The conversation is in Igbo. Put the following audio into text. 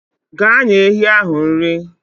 Gaa nye ehi ahụ nri.